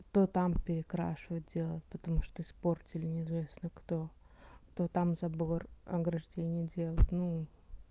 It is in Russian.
то там перекрашивать делать потому что испортили неизвестно то там забор ограждение делать ну